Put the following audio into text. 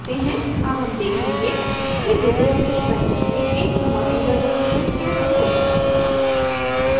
अब हम देखेंगे कि लिबरे ऑफिस writer में एक मौजूदा document कैसे खोलें